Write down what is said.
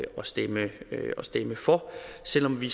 stemme for selv om vi